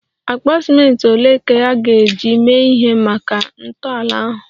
Akpa ciment ole ka a ga-eji mee ihe maka ntọala ahụ?